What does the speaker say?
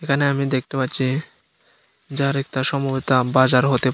এখানে আমি দেখতে পাচ্ছি যার একতা বাজার হতে পা --